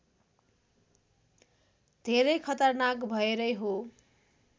धेरै खतरनाक भएरै हो